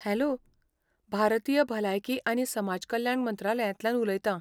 Hello! भारतीय भलायकी आनी समाज कल्याण मंत्रालयांतल्यान उलयतां.